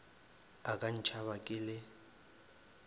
a ka ntšhaba ke le